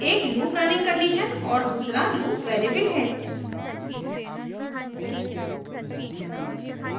एक loop running condition और दूसरा loop variable है